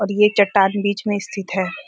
और ये चट्टान बीच में स्थिति है|